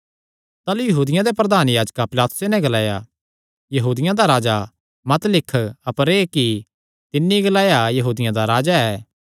ताह़लू यहूदियां दे प्रधान याजकां पिलातुसे नैं ग्लाया यहूदियां दा राजा मत लिख अपर एह़ कि तिन्नी ग्लाया यहूदियां दा राजा ऐ